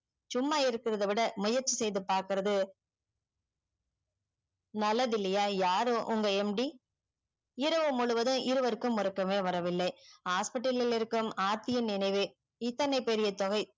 சும்மா இருக்கிறது விட முயற்சி செய்து பாக்குறது நல்லது இல்லையா யாரு உங்க MD இரவு முழுவதும் இருவருக்கு உறக்கமே வரவில்லை hospital லில் இருக்கும் ஆர்த்தியின் நினைவே இத்தனை பெரிய தொகை